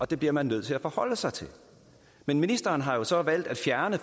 det bliver man nødt til at forholde sig til men ministeren har så valgt at fjerne